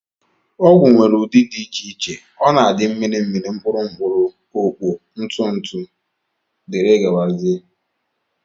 Ọgwụ nwere ụdị dị iche iche ọ na-adị, mmiri mmiri, mkpụrụ, okpo, ntụ ntụ dgz